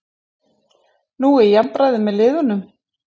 Nú er jafnræði með liðunum